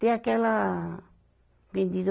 Ter aquela, como diz